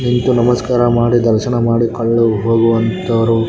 ನಿಂತು ನಮಸ್ಕಾರ ಮಾಡಿ ದರ್ಶನ ಮಾಡಿ ಕಳ್ಳು ಹೋಗುವಂತರು .